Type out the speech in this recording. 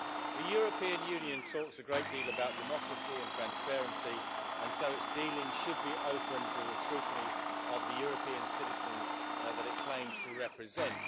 The European Union talks a great deal about democracy and transparency, and so its dealings should be open to the scrutiny of the European citizens that it claims to represent.